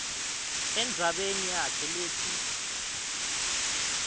endzabeni yakhe letsi